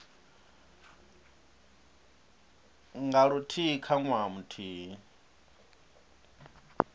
nga luthihi kha ṅwaha muthihi